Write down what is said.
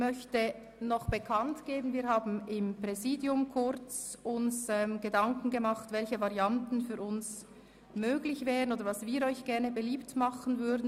Seitens des Präsidiums haben wir uns noch Gedanken darüber gemacht, was für uns möglich wäre beziehungsweise welche Varianten wir Ihnen gerne beliebt machen würden.